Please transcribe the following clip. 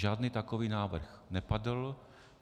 Žádný takový návrh nepadl.